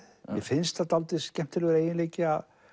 mér finnst það dálítið skemmtilegur eiginleiki